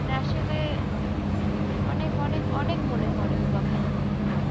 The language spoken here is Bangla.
মানে আসলে অনেক অনেক অনেক মনে পরে ওই কথা গুলি।